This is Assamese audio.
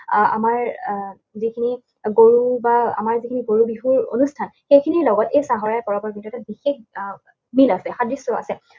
আহ আমাৰ আহ যিখিনি গৰু বা আমাৰ যিখিনি গৰু বিহুৰ অনুষ্ঠান, সেইখিনিৰ লগত এই চাহৰাই পৰৱৰ কিন্তু এটা বিশেষ মিল আছে, সাদৃশ্য আছে।